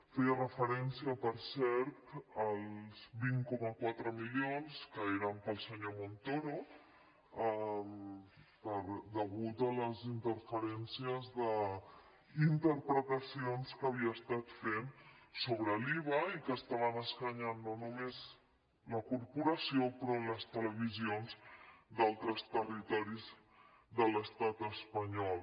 feia referència per cert als vint coma quatre milions que eren per al senyor montoro degut a les interferències d’interpretacions que havia estat fent sobre l’iva i que estaven escanyant no només la corporació sinó les televisions d’altres territoris de l’estat espanyol